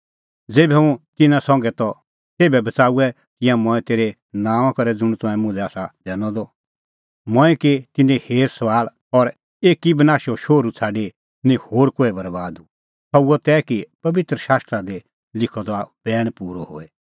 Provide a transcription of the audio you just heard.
ज़ेभै हुंह तिन्नां संघै त तेभै बच़ाऊऐ तिंयां मंऐं तेरै नांओंआं करै ज़ुंण तंऐं मुल्है आसा दैनअ द मंऐं की तिन्नें हेर सभाल़ और एकी बनाशे शोहरू छ़ाडी निं होर कोहै बरैबाद हुअ सह हुअ तै कि पबित्र शास्त्रा दी लिखअ द बैण पूरअ होए